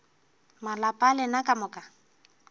malapa a lena ka moka